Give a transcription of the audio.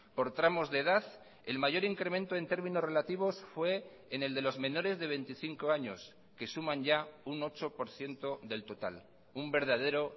por tramos de edad el mayor incremento en términos relativos fue en el de los menores de veinticinco años que suman ya un ocho por ciento del total un verdadero